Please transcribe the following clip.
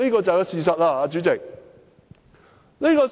這便是事實，主席。